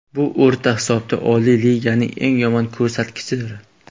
Bu o‘rta hisobda Oliy Liganing eng yomon ko‘rsatkichidir.